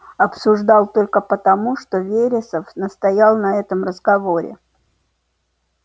обсуждал только потому что вересов настоял на этом разговоре